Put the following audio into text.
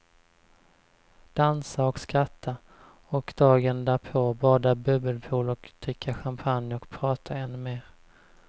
Dansa och skratta, och dagen därpå bada bubbelpool och dricka champagne och prata ännu mer.